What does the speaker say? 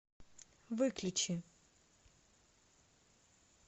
выключи